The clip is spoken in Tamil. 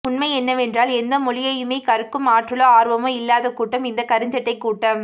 உண்மை என்னவென்றால் எந்த மொழியையுமே கற்கும் ஆற்றலோ ஆர்வமோ இல்லாத கூட்டம் இந்த கருஞ்சட்டை கூட்டம்